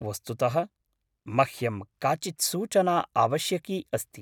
वस्तुतः मह्यं काचित् सूचना आवश्यकी अस्ति।